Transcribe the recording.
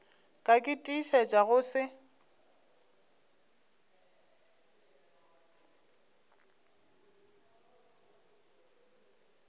ka ke tiišetša go se